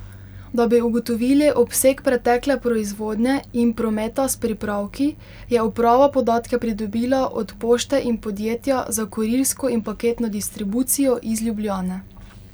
Da bi ugotovili obseg pretekle proizvodnje in prometa s pripravki, je uprava podatke pridobila od pošte in podjetja za kurirsko in paketno distribucijo iz Ljubljane.